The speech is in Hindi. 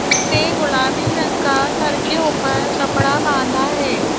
उसने गुलाबी रंग का सिर के ऊपर कपड़ा बांधा है।